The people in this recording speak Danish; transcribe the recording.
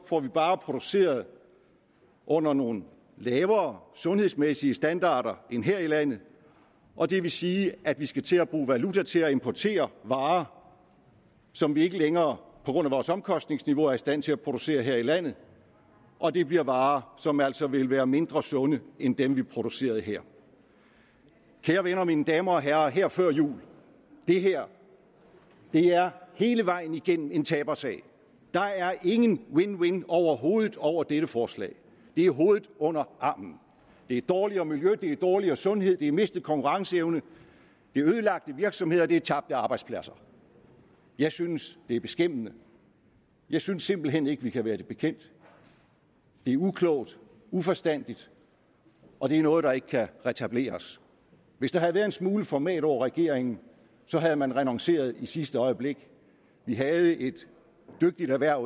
får vi bare produceret under nogle lavere sundhedsmæssige standarder end her i landet og det vil sige at vi skal til at bruge valuta til at importere varer som vi ikke længere på grund af vores omkostningsniveau er i stand til at producere her i landet og det bliver varer som altså vil være mindre sunde end dem vi producerede her kære venner mine damer og herrer her før jul det her er hele vejen igennem en tabersag der er ingen win win situation overhovedet over dette forslag det er hovedet under armen det er dårligere miljø det er dårligere sundhed det er mistet konkurrenceevne det er ødelagte virksomheder og det er tabte arbejdspladser jeg synes det er beskæmmende jeg synes simpelt hen ikke vi kan være det bekendt det er uklogt uforstandigt og det er noget der ikke kan retableres hvis der havde været en smule format over regeringen havde man renonceret i sidste øjeblik vi havde et dygtigt erhverv